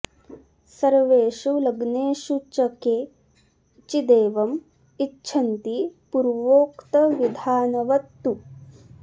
सर्वेषु लग्नेषु च के चिदेवं इच्छन्ति पूर्वोक्तविधानवत् तु